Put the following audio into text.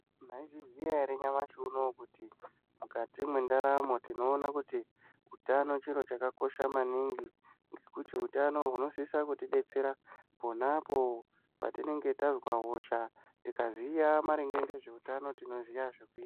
Maizviziya ere nyamashi unouyu kuti mukati mwendaramo tinona kuti utano chiro chakakosha maningi. Ngekuti hutano hunosisa kuti betsera ponapo patinenge tazwa hosha tikaziya maringe ngezveutano tinoziya zvokuita.